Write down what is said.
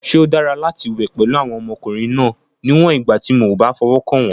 Ṣé ó dára láti wẹ̀ pẹ̀lú àwọn ọmọkùnrin náà, níwọ̀n ìgbà tí mi ò bá fọwọ́ kàn wọ́n?